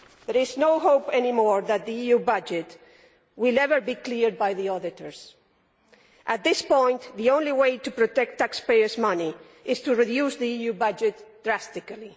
There is no hope any more that the EU budget will ever be cleared by the auditors. At this point, the only way to protect taxpayers' money is to reduce the EU budget drastically.